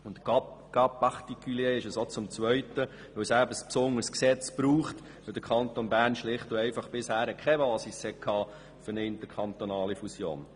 Es ist auch ein Sonderfall, weil dafür ein besonderes Gesetz benötigt wird, denn der Kanton Bern hatte bisher schlicht keine Basis für eine interkantonale Fusion.